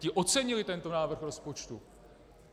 Ti ocenili tento návrh rozpočtu.